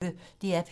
DR P1